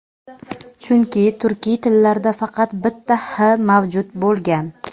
Chunki turkiy tillarda faqat bitta h mavjud bo‘lgan.